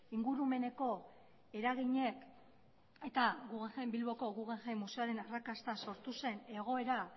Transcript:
ingurumeneko eraginek eta bilboko guggenheim museoaren arrakasta sortu zen egoera